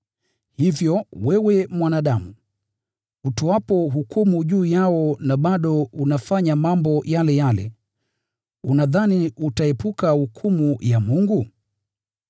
Hivyo wewe mwanadamu, utoapo hukumu juu yao na bado unafanya mambo yale yale, unadhani utaepuka hukumu ya Mungu?